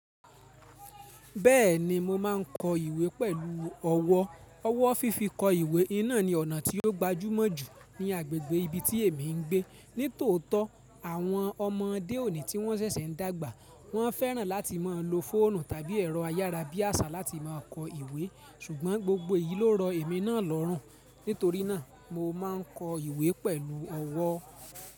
Bẹ́ẹ̀ni mo ma ń kọ ìwé pẹ̀lú ọ̀wọ́. Ọwọ́ fífi kọ ìwé oun ni ọ̀nà tí ó gbajúmọ̀ jù ní agbègbè ibi tí èmi ń gbé. Nítòótọ́, àwọn ọmọdé òní tí wọ́n ṣẹ̀ṣẹ̀ ń dàgbà, wọ́n fẹ́ràn láti máa lo fóònù tàbí ẹ̀rọ ayára bí àṣà láti máa kọ ìwé. Sùgbọ́n gbogbo èyí ló rọ èmi náà lọ́rùn. Nítorí náà, mo máa ń kọ ìwé pẹ̀lú ọ̀wọ́.